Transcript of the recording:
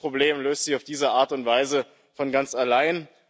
Manches Problem löst sich auf diese Art und Weise von ganz allein.